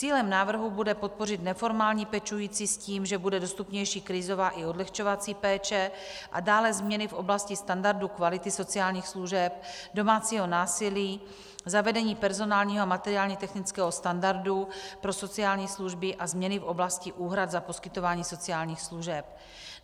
Cílem návrhu bude podpořit neformální pečující s tím, že bude dostupnější krizová i odlehčovací péče a dále změny v oblasti standardů kvality sociálních služeb, domácího násilí, zavedení personálního a materiálně technického standardu pro sociální služby a změny v oblasti úhrad za poskytování sociálních služeb.